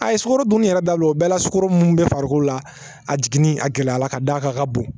A ye sukoro dunni yɛrɛ dabila o bɛɛ la sukaro mun bɛ farikolo la a jiginni a gɛlɛya la ka da a kan ka bon